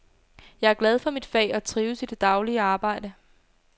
Jeg er glad for mit fag og trives i det daglige arbejde.